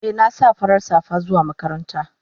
Eh na sa farar safa zuwa makaranta.